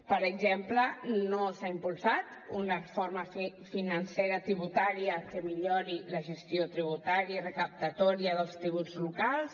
per exemple no s’ha impulsat una reforma financera tributària que millori la gestió tributària recaptatòria dels tributs locals